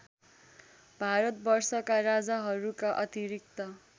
भारतवर्षका राजाहरूका अतिरिक्त